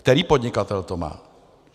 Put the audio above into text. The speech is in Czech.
Který podnikatel to má?